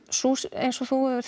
eins og þú hefur